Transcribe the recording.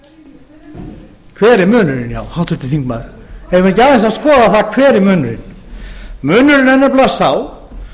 hver er munurinn háttvirtur þingmaður eigum við ekki aðeins að skoða það hver er munurinn munurinn er nefnilega sá